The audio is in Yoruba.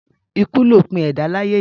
Ikú lòpin ẹ̀dá láyé yìí.